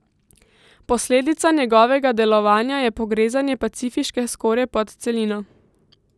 Posledica njegovega delovanja je pogrezanje pacifiške skorje pod celino.